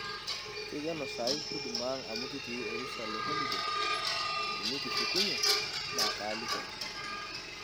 keikeno sahi huduma ang amu kitii orusa le holiday, tenikishukunye naa kaaliki ake